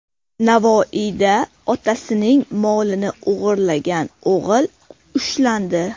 Navoiyda otasining molini o‘g‘irlagan o‘g‘il ushlandi.